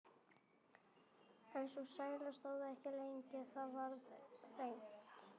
En sú sæla stóð ekki lengi: Það varð reimt.